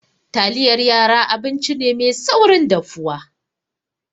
Taliyar yara abinci ne mai saurin dafuwa.